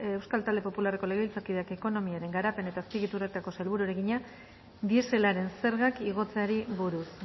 euskal talde popularreko legebiltzarkideak ekonomiaren garapen eta azpiegituretako sailburuari egina dieselaren zergak igotzeari buruz